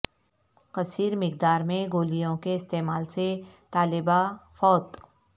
کثیر مقدار میں گولیوں کے استعمال سے طالبہ فوت